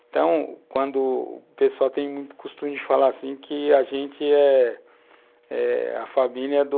Então, quando o pessoal tem o costume de falar assim que a gente é eh a família do...